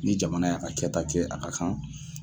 Ni jamana y'a kɛta kɛ a ka kan